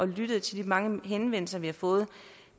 lyttet til de mange henvendelser vi har fået